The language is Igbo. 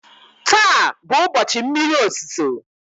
taa bụ ụbọchị mmiri ozuzo